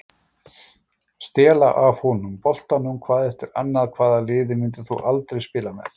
Stela af honum boltanum hvað eftir annað Hvaða liði myndir þú aldrei spila með?